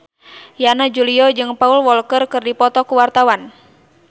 Yana Julio jeung Paul Walker keur dipoto ku wartawan